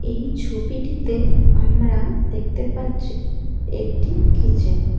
এই ছবিটিতে আমরা দেখতে পাচ্ছি একটি কিচেন ।